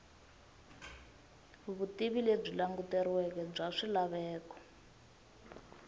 vutivi lebyi languteriweke bya swilaveko